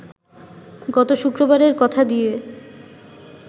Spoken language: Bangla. গত শুক্রবারের কথা দিয়ে